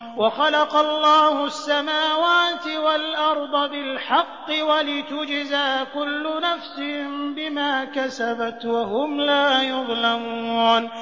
وَخَلَقَ اللَّهُ السَّمَاوَاتِ وَالْأَرْضَ بِالْحَقِّ وَلِتُجْزَىٰ كُلُّ نَفْسٍ بِمَا كَسَبَتْ وَهُمْ لَا يُظْلَمُونَ